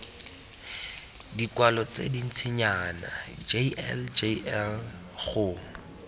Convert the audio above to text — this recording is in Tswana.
dikwalo tse dintsinyana jljl go